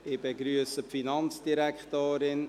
– Ich begrüsse die Finanzdirektorin.